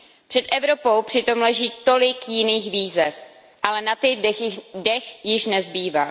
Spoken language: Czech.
Před Evropou přitom leží tolik jiných výzev, ale na ty dech již nezbývá.